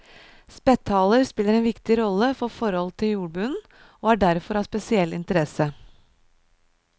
Spetthaler spiller en viktig rolle for forhold i jordbunnen, og er derfor av spesiell interesse.